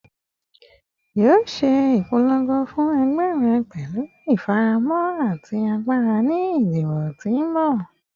Yoo ṣe ipolongo fun ẹgbẹ rẹ pẹlu ifaramọ ati agbara ni idibo ti n bọ